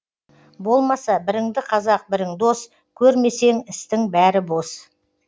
болмаса біріңді қазақ бірің дос көрмесең істің бәрі бос